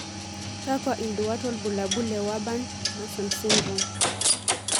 Kakwa induat wobulabul le Wyburn Masons syndrome?